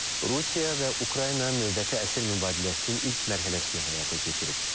Rusiya və Ukrayna növbəti əsir mübadiləsinin ilk mərhələsini həyata keçirib.